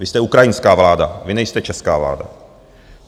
Vy jste ukrajinská vláda, vy nejste česká vláda.